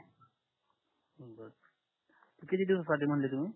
किती दिवस साठी मनले तुम्ही